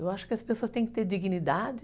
Eu acho que as pessoas têm que ter dignidade.